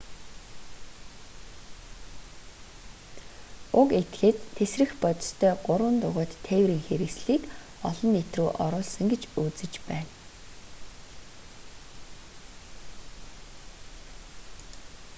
уг этгээд тэсрэх бодистой гурван дугуйт тээврийн хэрэгслийг олон нийт рүү оруулсан гэж үзэж байна